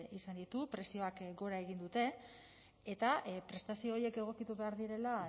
izan ditu prezioek gora egin dute eta prestazio horiek egokitu behar direla